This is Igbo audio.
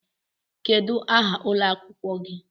Kedu aha ụlọ akwụkwọ gị?